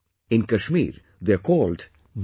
In Kashmir, they are called Nadru